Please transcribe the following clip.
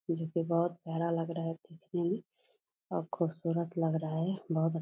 जो कि बहुत प्यारा लग रहा है मे और खुबसूरत लग रहा है बहुत अ --